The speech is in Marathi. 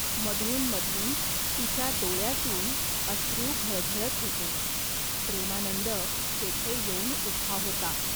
मधून मधून तिच्या डोळ्यांतून अश्रू घळघळत होते. प्रेमानंद तेथे येऊन उभा होता.